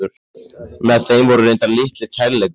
Með þeim voru reyndar litlir kærleikar.